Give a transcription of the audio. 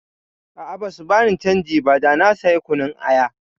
A'a, basu bani canji ba da na saya kunun aya.